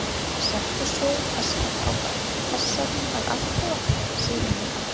Settu soðið pastað á fat, passaðu að allt vatn sé runnið af.